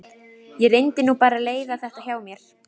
Það bregst mér enginn án þess að sjá eftir því.